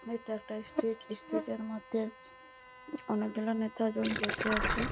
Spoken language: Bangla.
এটা একটা স্টেজ স্টেজ এর মর্ধে অনেক গুলো নেতা জন বসে আছে ।